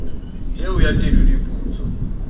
eo ya tedu di putswa